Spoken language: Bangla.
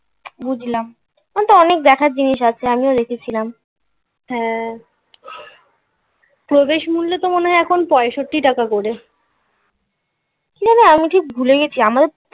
বুঝলাম. এখন তো অনেক দেখার জিনিস আছে. আমিও দেখেছিলাম. হ্যাঁ. প্রবেশমুল্য তো মনে হয় এখন পঁয়ষট্টি টাকা করে না না আমি ঠিক ভুলে গেছি আমারও